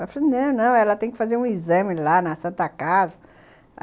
Aí eu falei, não, não, ela tem que fazer um exame lá na Santa Casa.